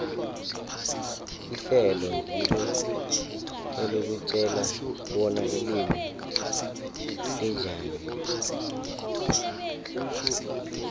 ihlelo ngilo elikutjela bona ilimi linjani